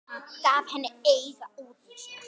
Gaf henni auga útundan sér.